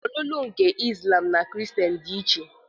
Ọlụlụ nke Izlam na nke Kristien dị iche